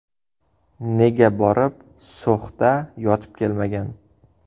Nega borib So‘xda yotib kelmagan?!